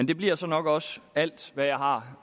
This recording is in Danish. det bliver så nok også alt hvad jeg har